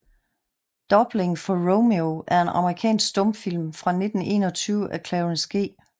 Doubling for Romeo er en amerikansk stumfilm fra 1921 af Clarence G